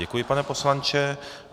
Děkuji, pane poslanče.